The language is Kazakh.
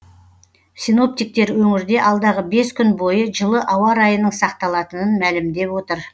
синоптиктер өңірде алдағы бес күн бойы жылы ауа райының сақталатынын мәлімдеп отыр